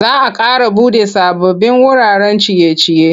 Za a ƙara buɗe sababbin wuraren ciye-ciye.